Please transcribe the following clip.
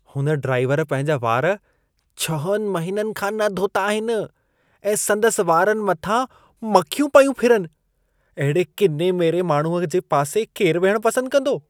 हुन ड्राइवर पंहिंजा वार छहनि महीननि खां न धोता आहिन ऐं संदसि वारनि मथां मखियूं पयूं फिरनि। अहिड़े किने-मेरे माण्हूअ जे पासे केरु विहण पसंद कंदो?